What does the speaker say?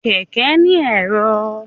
Kẹkẹ ni ẹ̀rọ.